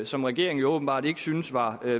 som regeringen åbenbart ikke synes var